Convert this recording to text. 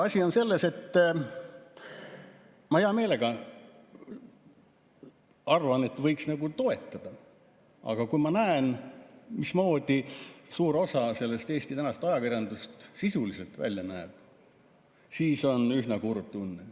Asi on selles, et kuigi ma hea meelega arvan, et võiks toetada, aga kui ma näen, mismoodi suur osa Eesti tänasest ajakirjandusest sisuliselt välja näeb, siis on üsna kurb.